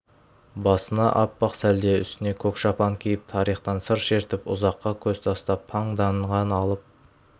басына аппақ сәлде үстіне көк шапан киіп тарихтан сыр шертіп ұзаққа көз тастап паңданған алып